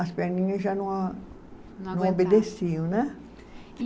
as perninha já não a. Não aguentava. Não obedeciam, né? E